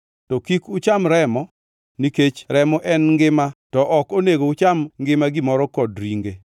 To kik ucham remo, nikech remo en ngima, to ok onego ucham ngima gimoro kod ringe.